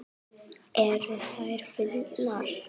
Eru þær fyndnar?